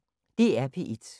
DR P1